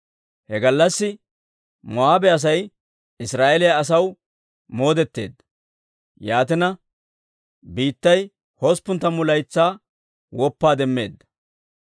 He gallassi Moo'aabe Asay Israa'eeliyaa asaw moodetteedda; yaatina biittay hosppun tammu laytsaa woppaa demmeedda.